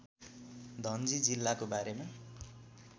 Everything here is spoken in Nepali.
धनजी जिल्लाको बारेमा